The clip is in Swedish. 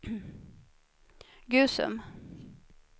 Gusum